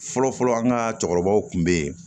Fɔlɔfɔlɔ an ka cɛkɔrɔbaw tun bɛ yen